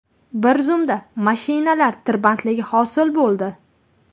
Bir zumda mashinalar tirbandligi hosil bo‘ldi.